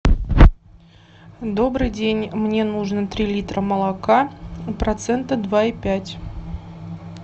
добрый день мне нужно три литра молока процента два и пять